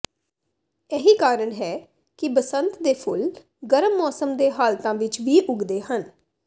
ਇਹੀ ਕਾਰਨ ਹੈ ਕਿ ਬਸੰਤ ਦੇ ਫੁੱਲ ਗਰਮ ਮੌਸਮ ਦੇ ਹਾਲਤਾਂ ਵਿੱਚ ਵੀ ਉੱਗਦੇ ਹਨ